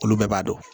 Olu bɛɛ b'a dɔn